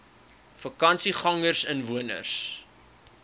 vakansiegangersinwoners